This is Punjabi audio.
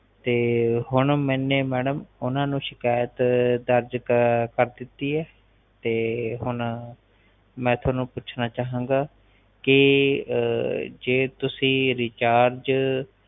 ਤੇ ਹੁਣ ਮੇਨੇ ਮੈਡਮ ਓਹਨਾ ਨੂੰ ਸ਼ਕੈਤ ਦਰਜ ਕਰ ਦਿਤੀ ਹੈ ਤੇ ਮੈ ਹੁਣ ਤੁਹਾਨੂੰ ਪੁੱਛਣਾ ਚਾਹਾਂ ਗਾ ਕਿ ਅਹ ਜੇ ਤੁਸੀ ਰਿਚਾਰਜ